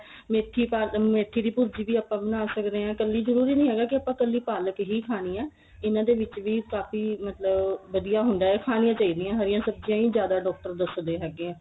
ਮੇਥੀ ਪਾ ਮੇਥੀ ਦੀ ਭੁਰਜੀ ਵੀ ਆਪਾਂ ਬਣਾ ਸਕਦੇ ਆ ਕੱਲੀ ਜਰੂਰੀ ਨੀਂ ਹੈਗਾ ਵੀ ਆਪਾਂ ਕੱਲੀ ਪਾਲਕ ਹੀ ਖਾਣੀ ਏ ਇਹਨਾ ਦੇ ਵਿੱਚ ਵੀ ਕਾਫੀ ਮਤਲਬ ਵਧੀਆ ਹੁੰਦਾ ਖਾਣਿਆਂ ਚਾਹੀਦੀਆ ਹਰੀਆਂ ਸਬਜੀਆਂ ਈ ਜਿਆਦਾ doctor ਦਸਦੇ ਹੈਗੇ ਏ